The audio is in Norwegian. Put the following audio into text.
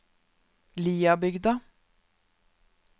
Liabygda